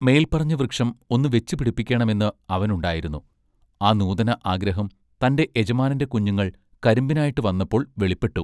മേൽ പറഞ്ഞ വൃക്ഷം ഒന്ന് വെച്ച് പിടിപ്പിക്കേണമെന്ന് അവനുണ്ടായിരുന്നു ആ നൂതന ആഗ്രഹം തന്റെ യജമാനന്റെ കുഞ്ഞുങ്ങൾ കരിമ്പിനായിട്ട് വന്നപ്പോൾ വെളിപ്പെട്ടു.